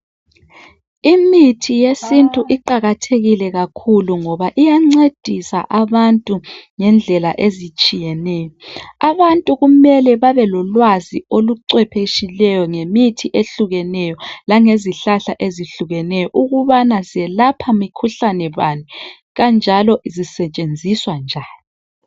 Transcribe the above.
Imithi yesintu iqakathekile kakhulu ngoba iyancedisa abantu ngendlela ezitshiyeneyo. Abantu kumele babe lolwazi olucwepheshileyo ngemithi ehlukeneyo lange zihlahla ezehlukeneyo ukubana zelapha mikhuhlane bani kanjalo zisetshenziswa njani.